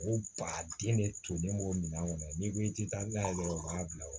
O ba den de tolen b'o minɛn kɔnɔ n'i ko i tɛ taa n'a ye dɔrɔn u b'a bila o la